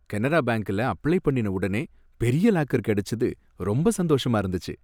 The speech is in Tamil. கனரா பேங்க்ல அப்ளை பண்ணின உடனே பெரிய லாக்கர் கிடைச்சது ரொம்ப சந்தோஷமா இருந்துச்சு.